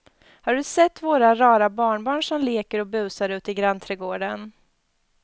Har du sett våra rara barnbarn som leker och busar ute i grannträdgården!